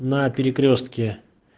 на перекрёстке